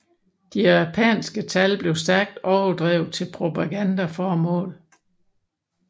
De japanske tab blev stærkt overdrevet til propagandaformål